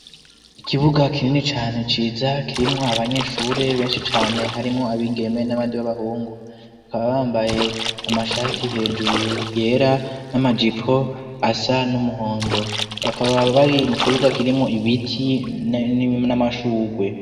Ikibuga kinini cane ciza kirimwo abanyeshure benshi cane harimwo abigeme n'abandi b'abahungu bakaba bambaye amashati hejuru yera n'amajipo asa n'umuhondo bakaba bari mu kibuga kirimwo ibiti n'amashurwe.